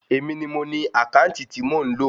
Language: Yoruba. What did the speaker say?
Èmi ni mo ni àkáǹtì tí mò ń lò